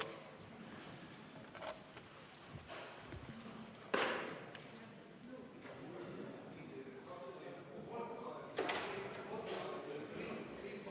Aitäh!